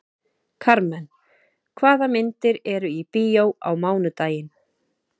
Karmen, hvaða myndir eru í bíó á mánudaginn?